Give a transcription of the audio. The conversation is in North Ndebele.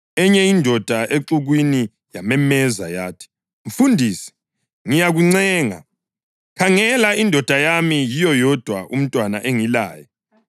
Enye indoda exukwini yamemeza yathi, “Mfundisi, ngiyakuncenga, khangela indodana yami yiyo yodwa umntwana engilaye.